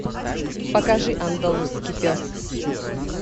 покажи андалузский пес